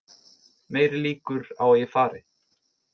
Meiri líkur á að ég fari